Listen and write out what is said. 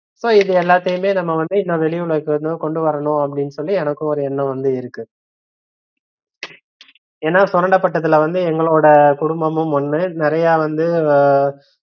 So இது எல்லாத்தையுமே நம்மவந்து இன்னு வெளிஉலகுக்கு கொண்டுவரனுனு அப்படின்னு சொல்லி எனக்கு ஒரு எண்ணம் வந்து இருக்கு ஏன்னா சுரண்டப்பட்டதுல வந்து எங்களோட குடும்பமும் ஒன்னு நிறையா வந்து